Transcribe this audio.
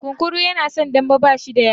Kunkuru yana son dambe, bashi da yatsa.